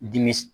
Dimi